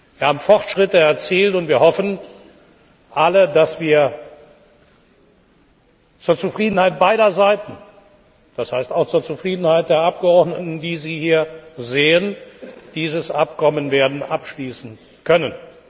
Wir haben Fortschritte erzielt, und wir hoffen alle, dass wir zur Zufriedenheit beider Seiten das heißt auch zur Zufriedenheit der Abgeordneten, die Sie hier sehen dieses Abkommen werden abschließen können.